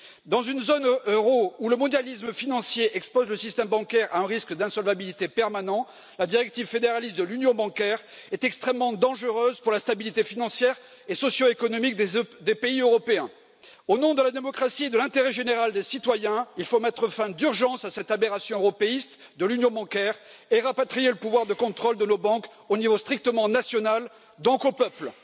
Dans une zone euro où le mondialisme financier expose le système bancaire à un risque d'insolvabilité permanent, la directive fédéraliste de l'union bancaire est extrêmement dangereuse pour la stabilité financière et socio économique des pays européens. Au nom de la démocratie et de l'intérêt général des citoyens, il faut mettre fin d'urgence à cette aberration européiste de l'union bancaire et rapatrier le pouvoir de contrôle de nos banques au niveau strictement national, donc aux peuples.